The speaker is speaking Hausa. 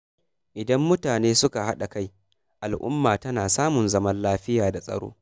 Idan mutane suka haɗa kai, al’umma tana samun zaman lafiya da tsaro.